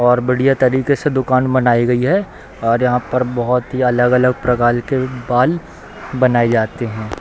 और बढ़िया तरीके से दुकान बनाई गई है और यहाँ पर बहुत अलग-अलग प्रकार के बाल बनाये जाते हैं |